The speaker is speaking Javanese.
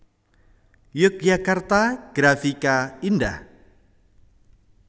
Yogyakarta Grafika Indah